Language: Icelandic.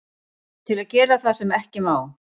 Til að gera það sem ekki má.